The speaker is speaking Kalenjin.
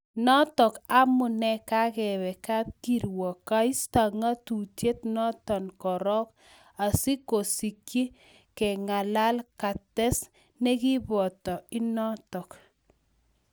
Notok amunei kagepee kapkirwog keisto ng'atutiet notok korog, asigosikyi keng�alal kates negipoto inotok